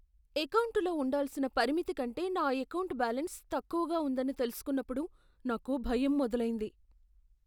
ఎకౌంటులో ఉండాల్సిన పరిమితి కంటే నా ఎకౌంటు బ్యాలెన్స్ తక్కువగా ఉందని తెలుసుకున్నప్పుడు నాకు భయం మొదలైంది.